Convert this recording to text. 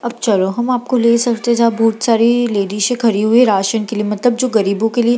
अब चलो हम आपको ले चलते है जहां बहुत सारी लेडीजे खड़ी हुई हैं राशन के लिए मतलब जो गरीबों के लिए --